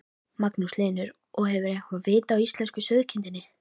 Magnús Hlynur: Og hefurðu eitthvað vit á íslensku sauðkindinni?